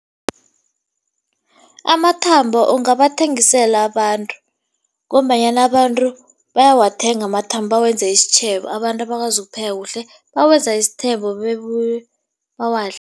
Amathambo ungabathengisela abantu ngombanyana abantu bayawathenga amathambo, bawenze isitjhebo. Abantu abakwazi ukupheka kuhle bawenza isithebo bawadle.